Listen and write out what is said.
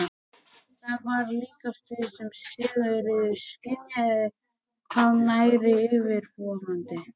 Það var líkast því sem Sigríður skynjaði hvað væri yfirvofandi.